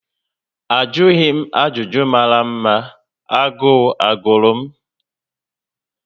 Ajụghi m ajụjụ mara ma agụụ ogụrụ m